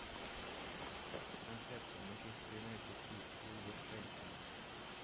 трансляция манчестер юнайтед и вулверхэмптон